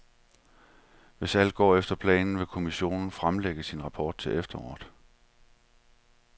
Hvis alt går efter planen, vil kommissionen fremlægge sin rapport til efteråret.